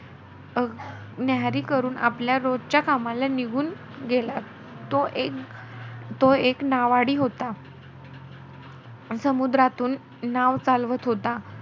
न्याहरी करून, आपल्या रोजच्या कामाला निघून गेला. तो एक नावाडी होता. समुद्रातून नाव चालवत होता.